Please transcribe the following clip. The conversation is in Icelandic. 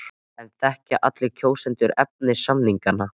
En þekkja allir kjósendur efni samninganna?